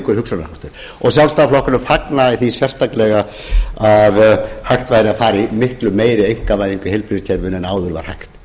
hugsunarháttur sjálfstæðisflokkurinn fagnaði því sérstaklega að hægt væri að fara í miklu meiri einkavæðingu í heilbrigðiskerfinu en áður var hægt